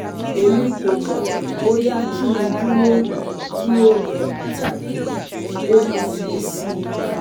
Emi ko mo boya ki n duro ki o lo tabi o ma le si